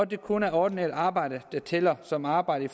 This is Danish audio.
det kun er ordinært arbejde der tæller som arbejde